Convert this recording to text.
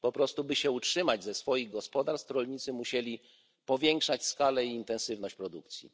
Po prostu by się utrzymać ze swoich gospodarstw, rolnicy musieli powiększać skalę i intensywność produkcji.